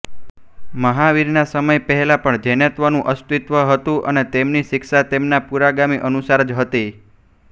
મહાવીરના સમય પહેલાં પણ જૈનત્વનું અસ્તિત્વ હતું અને તેમની શિક્ષા તેમના પૂરોગામી અનુસાર જ હતી